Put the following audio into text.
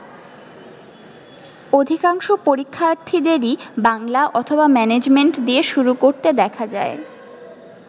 অধিকাংশ পরীক্ষার্থীদেরই বাংলা অথবা ম্যানেজমেন্ট দিয়ে শুরু করতে দেখা যায়।